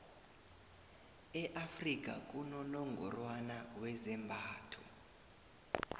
e afrika kunonongorwani wezembatho